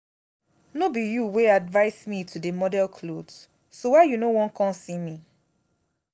no be you wey advice me to dey model cloth so why you no wan come see me?